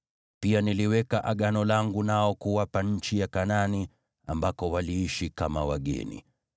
Pia niliweka Agano langu nao kuwapa nchi ya Kanaani, ambako waliishi kama wageni.